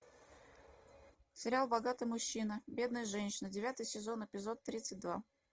сериал богатый мужчина бедная женщина девятый сезон эпизод тридцать два